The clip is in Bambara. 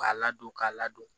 K'a ladon k'a ladon